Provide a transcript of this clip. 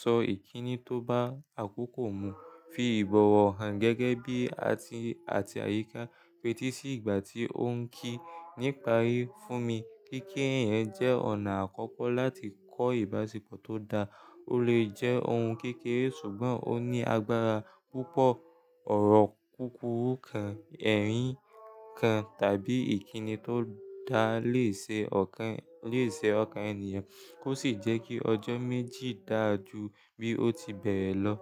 sọ ìkíni tó bá àkókò mu, fi ìbọ̀wọ̀ hàn gẹ́gẹ́ bí àti àti àyíká, feti si ìgbà tí ó ń kí. Níparí fún mi, kíkí eyan jẹ́ ọ̀nà àkọ́kọ́ láti kọ́ ìbáṣepọ̀ tó dáa. Ó lè jẹ́ ohun kékeré ṣùgbọ́n ó ní agbára púpọ̀. Ọ̀rọ̀ kúkúrú kan, ẹ̀rín kan tàbí ìkíni tó dáa lè ṣe ọ̀kan lè ṣe ọ̀kan ènìyàn kó sì jẹ́ kí ọjọ́ méjì dà jú bí ó ti bẹ̀rẹ̀ lọ.